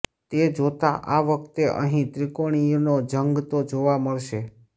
તે જોતા આ વખતે અહીં ત્રિકોણીયો જંગ તો જોવા મળશે